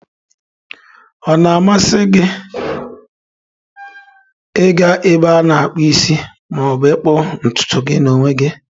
Ọ na-amasị gị ịga na-ebe ana akpu isi ma ọ bụ ịkpụ ntutu gị na onwe gi?